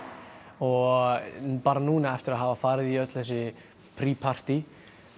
og bara núna eftir að hafa farið í öll þessi partý